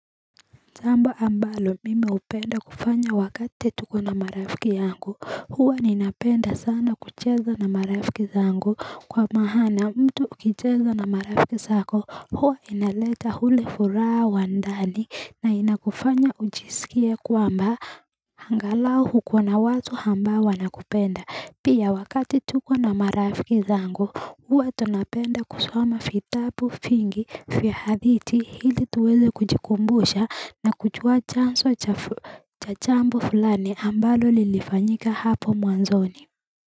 Jambo ambalo mimi hupenda kufanya wakati tuko na marafiki yangu hua ninapenda sana kucheza na marafiki zangu Kwa maana mtu ukicheza na marafiki zako hua inaleta ule furaha wa ndani na inakufanya ujisikie kwamba Angalau uko na watu ambao wanakupenda pia wakati tuko na marafiki zangu huwa tonapenda kusoma vitabu vingi vya hadithi ili tuweze kujikumbusha na kujua chanzo cha jambo fulani ambalo lilifanyika hapo mwanzoni.